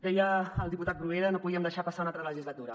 deia el diputat bruguera no podíem deixar passar una altra legislatura